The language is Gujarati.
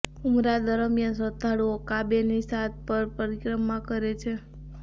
ઉમરા દરમિયાન શ્રદ્ધાળુઓ કાબેની સાત પર પરિક્રમા કરે છે